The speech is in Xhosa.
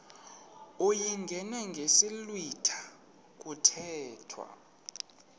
uyingene ngesiblwitha kuthethwa